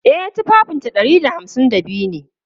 E, tufafinta ɗari da hamsin da biyu ne.